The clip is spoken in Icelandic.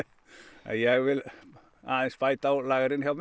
en ég vil aðeins bæta á lagerinn hjá mér